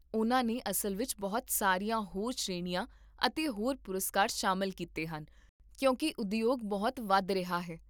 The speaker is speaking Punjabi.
ਉਨ੍ਹਾਂ ਨੇ ਅਸਲ ਵਿੱਚ ਬਹੁਤ ਸਾਰੀਆਂ ਹੋਰ ਸ਼੍ਰੇਣੀਆਂ ਅਤੇ ਹੋਰ ਪੁਰਸਕਾਰ ਸ਼ਾਮਲ ਕੀਤੇ ਹਨ ਕਿਉਂਕਿ ਉਦਯੋਗ ਬਹੁਤ ਵਧ ਰਿਹਾ ਹੈ